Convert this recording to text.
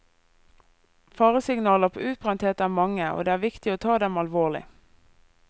Faresignaler på utbrenthet er mange, og det er viktig å ta dem alvorlig.